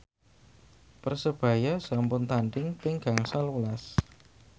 Persebaya sampun tandhing ping gangsal welas